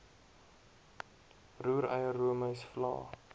roereier roomys vla